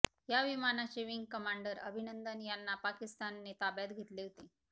या विमानाचे wing commander Abhinandan यांना पाकिस्तानने ताब्यात घेतले होते